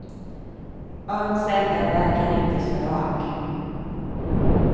Öns enda väg är inte så rak.